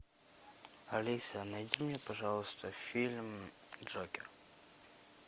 алиса найди мне пожалуйста фильм джокер